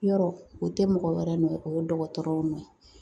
Yɔrɔ o tɛ mɔgɔ wɛrɛ nɔ ye o ye dɔgɔtɔrɔw nɔ ye